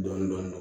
Dɔɔnin dɔɔnin